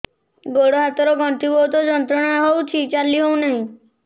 ଗୋଡ଼ ହାତ ର ଗଣ୍ଠି ବହୁତ ଯନ୍ତ୍ରଣା ହଉଛି ଚାଲି ହଉନାହିଁ